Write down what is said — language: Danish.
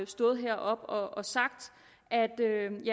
stået heroppe og og sagt